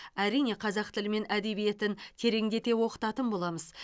әрине қазақ тілі мен әдебиетін тереңдете оқытатын боламыз